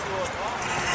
Təcili təcili.